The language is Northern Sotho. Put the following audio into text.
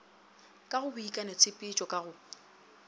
ka go boikanotshepetšo ka go